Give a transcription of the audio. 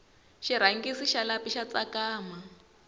xirhangisi xa lapi xa tsakama